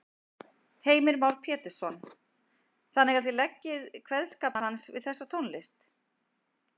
Heimir Már Pétursson: Þannig að þið leggið kveðskap hans við þessa tónlist?